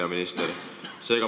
Hea minister!